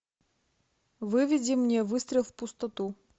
выведи мне выстрел в пустоту